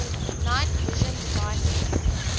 night vision devices